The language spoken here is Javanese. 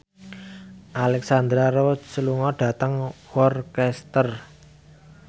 Alexandra Roach lunga dhateng Worcester